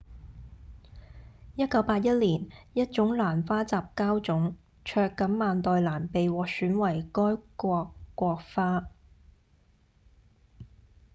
1981年一種蘭花雜交種「卓錦萬代蘭」被獲選為該國國花